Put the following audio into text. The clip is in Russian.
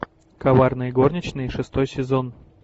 коварные горничные шестой сезон